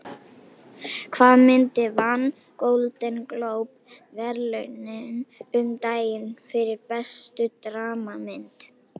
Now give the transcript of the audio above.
Hvaða mynd vann Golden Globe verðlaunin um daginn fyrir bestu dramamynd?